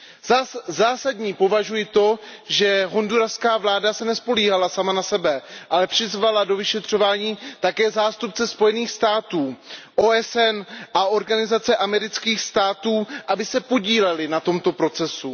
Za zásadní považuji to, že honduraská vláda se nespoléhala sama na sebe, ale přizvala do vyšetřování také zástupce Spojených států, OSN a Organizace amerických států, aby se podíleli na tomto procesu.